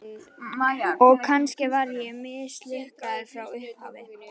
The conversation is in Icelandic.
Og kannski var ég mislukkaður frá upphafi.